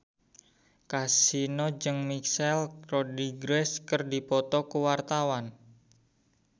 Kasino jeung Michelle Rodriguez keur dipoto ku wartawan